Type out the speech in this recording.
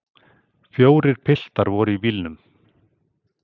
Fjórir piltar voru í bílnum.